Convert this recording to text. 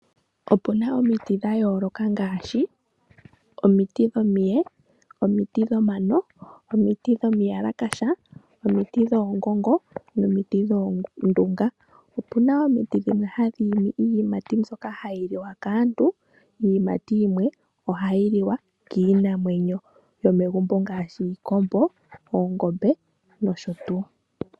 Opu na omiti dha yooloka ngaashi omiti dhomiye, omiti dhomano, omiti dho mayalakasha, omiti dhoongongo nomiti dhoondunga. Opuna omiti dhimwe hadhi imi iiyimati mbyoka hayi li wa kaantu, iiyimati yimwe ohayi li wa kiinamwenyo yomegumbo ngaashi iikombo, oongombe noshotu.